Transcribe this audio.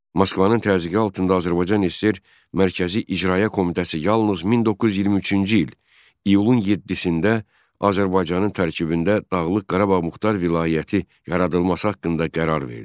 Moskvanın təzyiqi altında Azərbaycan SSR Mərkəzi İcraiyyə Komitəsi yalnız 1923-cü il iyulun 7-də Azərbaycanın tərkibində Dağlıq Qarabağ Muxtar Vilayəti yaradılması haqqında qərar verdi.